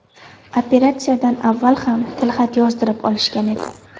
Operatsiyadan avval ham tilxat yozdirib olishgan edi.